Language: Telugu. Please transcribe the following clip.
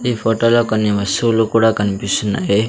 ఈ ఫోటో లో కొన్ని వస్తువులు కూడా కనిపిస్తున్నాయి.